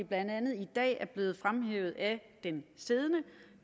blandt andet i dag er blevet fremhævet af den siddende